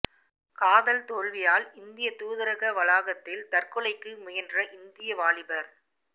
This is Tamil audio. காதல் தோல்வியால் இந்திய தூதரக வளாகத்தில் தற்கொலைக்கு முயன்ற இந்திய வாலிபர்